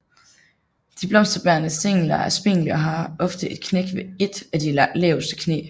De blomsterbærende stængler er spinkle og har ofte et knæk ved ét af de laveste knæ